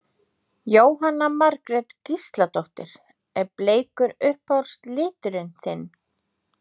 Jóhanna Margrét Gísladóttir: Er bleikur uppáhalds liturinn þinn?